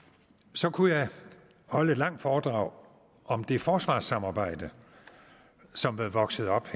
så kunne jeg holde et langt foredrag om det forsvarssamarbejde som er vokset op